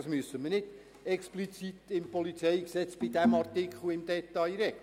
das müssen wir nicht im PolG in diesem Artikel im Detail regeln.